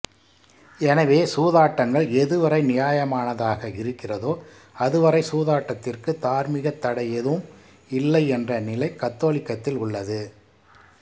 எனவே சூதாட்டங்கள் எதுவரை நியாயமானதாக இருக்கிறதோ அதுவரை சூதாட்டத்திற்கு தார்மீகத் தடை ஏதும் இல்லை என்ற நிலை கத்தோலிக்கத்தில் உள்ளது